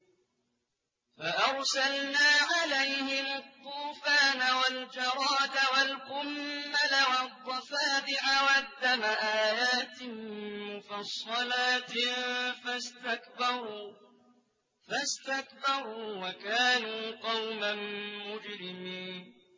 فَأَرْسَلْنَا عَلَيْهِمُ الطُّوفَانَ وَالْجَرَادَ وَالْقُمَّلَ وَالضَّفَادِعَ وَالدَّمَ آيَاتٍ مُّفَصَّلَاتٍ فَاسْتَكْبَرُوا وَكَانُوا قَوْمًا مُّجْرِمِينَ